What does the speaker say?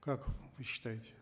как вы считаете